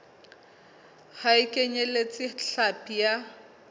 ha e kenyeletse hlapi ya